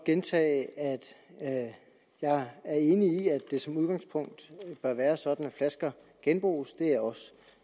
gentage at jeg er enig i at det som udgangspunkt bør være sådan at flasker genbruges og det er også